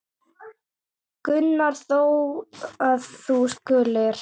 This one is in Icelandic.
Gunnar þó, að þú skulir.